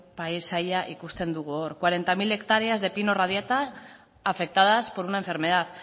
paisaia ikusten dugu hor cuarenta mil hectáreas de pino radiata afectadas por una enfermedad